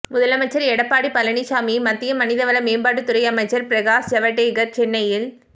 முதலமைச்சர் எடப்பாடி பழனிசாமியை மத்திய மனிதவள மேம்பாட்டுத் துறை அமைச்சர் பிரகாஷ் ஜவடேகர் சென்னையில்